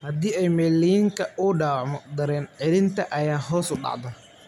Haddii myelin-ka uu dhaawacmo, dareen-celintan ayaa hoos u dhacda.